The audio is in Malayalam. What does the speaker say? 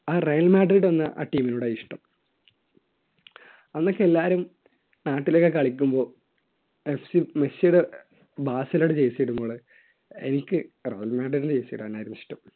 ആ റയൽ മാഡ്രിഡ് എന്ന ആ team നോട് ആ ഇഷ്ടം അന്നൊക്കെ എല്ലാരും നാട്ടിലൊക്കെ കളിക്കുമ്പോൾ മെസ്സിടെ ബാസിലോയുടെ jersey ഇടുമ്പോൾ എനിക്ക് റയൽ മാഡ്രിഡ് jersey ഇടാനായിരുന്നു ഇഷ്ടം